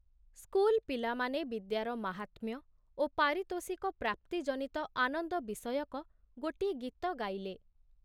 School ପିଲାମାନେ ବିଦ୍ୟାର ମାହାତ୍ମ୍ୟ ଓ ପାରିତୋଷିକ ପ୍ରାପ୍ତି ଜନିତ ଆନନ୍ଦ ବିଷୟକ ଗୋଟିଏ ଗୀତ ଗାଇଲେ।